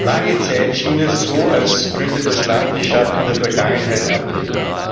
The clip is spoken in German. Lange Zeit schien es so, als könnte das Land die Schatten der Vergangenheit ablegen.